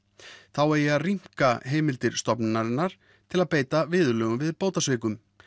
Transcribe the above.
þá eigi að rýmka heimildir stofnunarinnar til að beita viðurlögum við bótasvikum